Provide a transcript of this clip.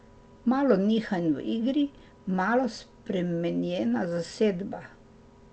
Malo nihanj v igri, malo spremenjena zasedba...